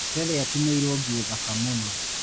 Terry atumĩirwo nguo thaka mũno.